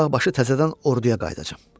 Uzaqbaşı təzədən orduya qayıdacam.